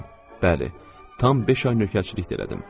Bəli, tam beş ay nökərçilikdə elədim.